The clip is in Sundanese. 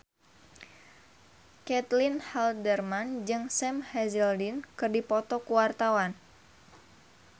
Caitlin Halderman jeung Sam Hazeldine keur dipoto ku wartawan